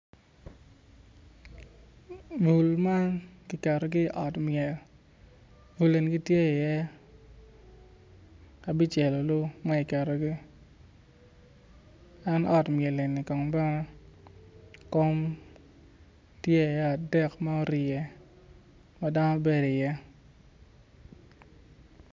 Bul man giketogi i ot myel bul eni gitye iye abicel olu ma giketogi en ot myel eni kong bene kom tye i iye adek ma orye ma dano bedo i iye.